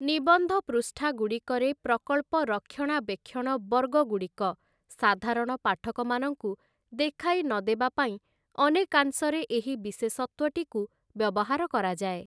ନିବନ୍ଧ ପୃଷ୍ଠାଗୁଡ଼ିକରେ ପ୍ରକଳ୍ପ ରକ୍ଷଣାବେକ୍ଷଣ ବର୍ଗଗୁଡ଼ିକ ସାଧାରଣ ପାଠକମାନଙ୍କୁ ଦେଖାଇ ନଦେବା ପାଇଁ ଅନେକାଂଶରେ ଏହି ବିଶେଷତ୍ଵଟିକୁ ବ୍ୟବହାର କରାଯାଏ ।